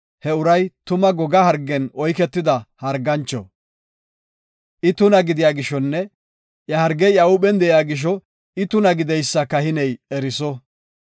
he uray tuma goga hargen oyketida hargancho. I tuna gidiya gishonne iya hargey iya huuphen de7iya gisho I tuna gideysa kahiney eriso.